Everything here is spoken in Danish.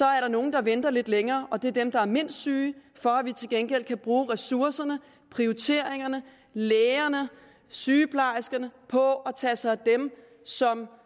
er der nogle der venter lidt længere og det er dem der er mindst syge for at vi til gengæld kan bruge ressourcerne prioriteringerne lægerne sygeplejerskerne på at tage os af dem som